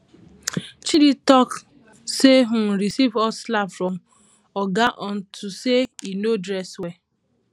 chidi talk say im receive hot slap from oga unto say he no dress well